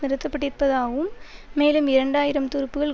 நிறுத்தப்பட்டிருப்பதாகவும் மேலும் இரண்டு ஆயிரம் துருப்புகள்